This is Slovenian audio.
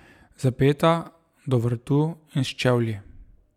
Zapeta do vratu in s čevlji.